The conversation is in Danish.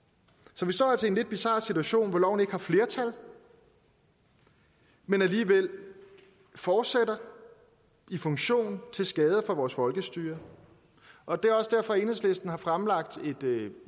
så vi står altså i en lidt bizar situation hvor loven ikke har flertal men alligevel fortsætter i funktion til skade for vores folkestyre og det er også derfor at enhedslisten har fremlagt